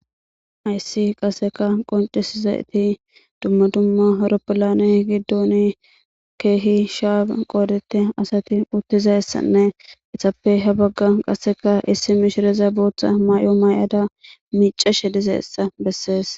ayssi qasseka qoncisizayti dumma dumma aroppolane giddon keehi shaa qoodite asati uttizaessanne etappe ha bagga qasseka issi mishireza bootha may7o maay7ada micashe dizeessa bessees